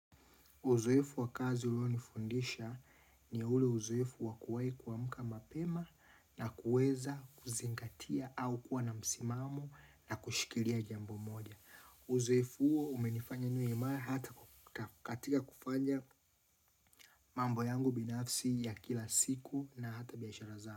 Uzoefu wakazi ulo nifundisha ni ule uzoefu wakuwae kwamuka mapema na kueza kuzingatia au kuwa na msimamo na kushikilia jambo moja. Uzoefu uo umenifanya niwe ima hata katika kufanya mambo yangu binafsi ya kila siku na hata biyashara zao.